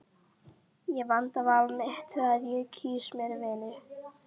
Ég vanda val mitt þegar ég kýs mér vini.